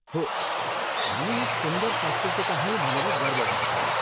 हो, हामी यस सुन्दर संस्कृतिका हौँ भनेर गर्व गर्छौं।